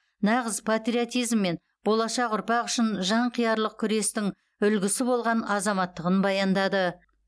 нағыз патриотизм мен болашақ ұрпақ үшін жанқиярлық күрестің үлгісі болған азаматтығын баяндады